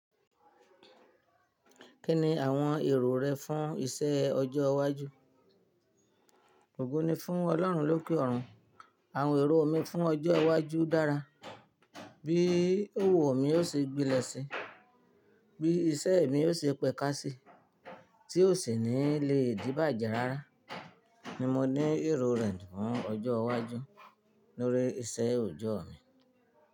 Kí ni àwọn èrò rẹ fún iṣẹ́ ọjọ́ iwájú? Ògo ní fún Ọlọ́run lókè ọ̀run. Àwọn èrò mi fún ọjọ́ iwájú dára. Bí òwò mi yóò ṣe gbilẹ̀ sí i, bí iṣẹ́ mi yóò ṣe pẹ́kásí tí ó sì ní le dìbàjẹ́ rárá ni mo ní èrò rẹ̀ fún ọjọ́ iwájú lórí iṣẹ́ òjọ́ mi.